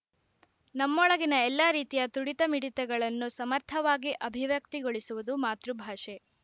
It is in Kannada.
ನಮ್ಮೊಳಗಿನ ಎಲ್ಲ ರೀತಿಯ ತುಡಿತ ಮಿಡಿತಗಳನ್ನು ಸಮರ್ಥವಾಗಿ ಅಭಿವ್ಯಕ್ತಿಗೊಳಿಸುವುದು ಮಾತೃಭಾಷೆ